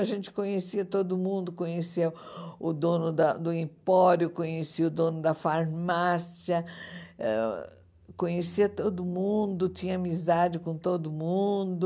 A gente conhecia todo mundo, conhecia o dono da do empório, conhecia o dono da farmácia, ãh conhecia todo mundo, tinha amizade com todo mundo.